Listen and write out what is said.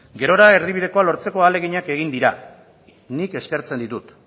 gerora erdibidekoa lortzeko ahaleginak egin dira nik eskertzen ditut